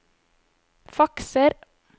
fakser